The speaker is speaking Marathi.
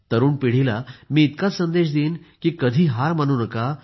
तरुण पिढीला मी इतकाच संदेश देईन कधी हार मानू नका